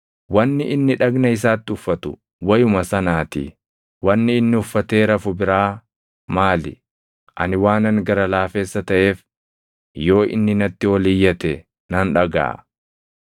wanni inni dhagna isaatti uffatu wayuma sanaatii. Wanni inni uffatee rafu biraa maali? Ani waanan gara laafessa taʼeef, yoo inni natti ol iyyate nan dhagaʼa.